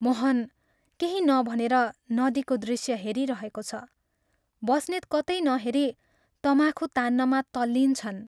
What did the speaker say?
मोहन केही नभनेर नदीको दृश्य हेरिरहेको छ बस्नेत कतै नहेरी तमाखु तान्नमा तल्लीन छन्।